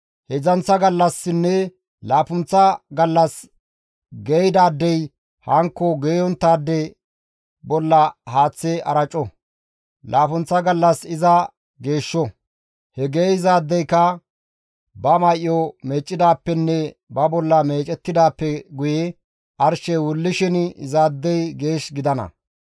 Heedzdzanththa gallassinne laappunththa gallas geeyidaadey hankko geeyonttaade bolla haaththe araco; laappunththa gallas iza geeshsho; he geeyzaadeyka ba may7o meeccidaappenne ba bolla meecettidaappe guye arshey wullishin izaadey geesh gidana.